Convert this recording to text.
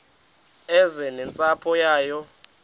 eze nentsapho yayo